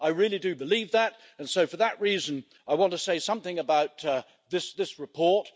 I really do believe that, and so for that reason, I want to say something about this report.